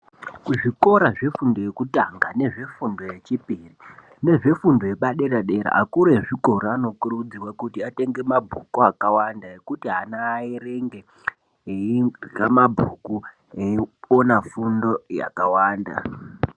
Kuzvikora zvefundo yekutanga, nezvefundo yechipiri nezvefundo yepadera dera, akuru ezvikora anokurudzirwa kuti atenge mabhuku akawanda ekuti ana aerenge eirya mabhuku eiona fundo yakawanda.